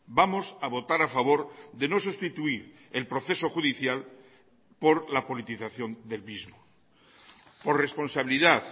vamos a votar a favor de no sustituir el proceso judicial por la politización del mismo por responsabilidad